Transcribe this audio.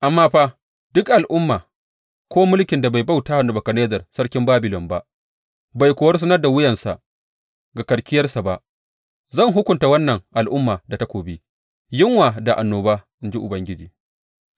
Amma fa, duk al’umma ko mulkin da bai bauta wa Nebukadnezzar sarkin Babilon ba bai kuwa rusunar da wuyarsa ga karkiyarsa ba, zan hukunta wannan al’umma da takobi, yunwa da annoba, in ji Ubangiji,